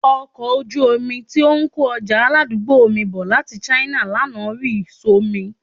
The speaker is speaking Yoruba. Ọkọ̀ ojú omi tí ó ń kó ọjà aládùúgbò mi bọ̀ láti China lánàá rì só mi